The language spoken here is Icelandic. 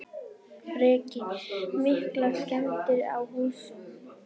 Breki: Miklar skemmdir á húsinu?